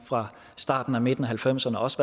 fra starten og midten af halvfemserne og også